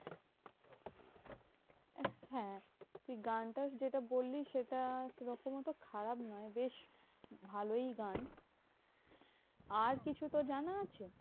হ্যাঁ তুই গানটা যেটা বললি সেটা সেরকম অত খারাপ নয়, বেশ ভালোই গান। আর কিছু তোর জানা আছে?